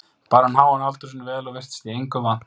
Bar hann háan aldur sinn vel og virtist í engu vant.